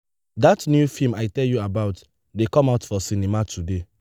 dat new film i tell you about dey come out for cinema today.